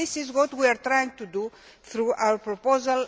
This is what we are trying to do through our proposal.